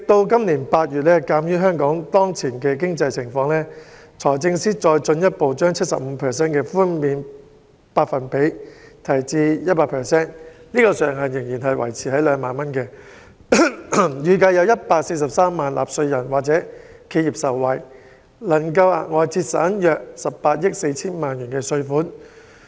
今年8月，鑒於香港當前經濟情況，財政司司長再進一步將 75% 的寬減百分比提升至 100%， 上限仍然維持於2萬元，預計有143萬名納稅人或企業受惠，能額外節省約18億 4,000 萬元稅款。